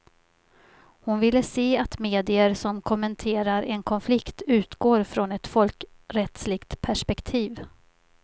Hon vill se att medier som kommenterar en konflikt utgår från ett folkrättsligt perspektiv.